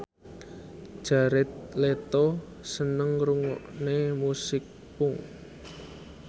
Jared Leto seneng ngrungokne musik punk